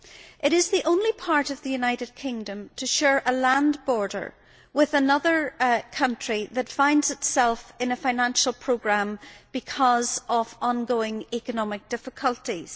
It is the only part of the United Kingdom to share a land border with another country that finds itself in a financial programme because of ongoing economic difficulties.